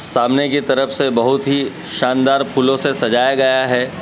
सामने की तरफ से बहुत ही शानदार फूलों से सजाया गया है।